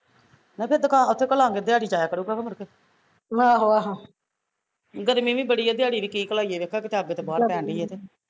ਨਾ ਤੇ ਦੁਕਾਨ ਤੇ ਓਥੇ ਘੱਲਾਂਗੇ ਦਿਹਾੜੀ ਜਾਇਆ ਕਰੂਗਾ ਮੁੜ ਕੇ ਗਰਮੀ ਵੀ ਬੜੀ ਆ ਦਿਹਾੜੀ ਵੀ ਕੀ ਘੱਲਾਈਏ ਵੇਖ ਬਾਹਰ ਹਵਾ ਪੈਣ ਡਈ ਐ ਤੇ